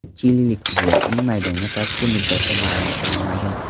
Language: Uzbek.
Chililik futbolchining maydonga qaytish muddati ma’lum qilinmagan.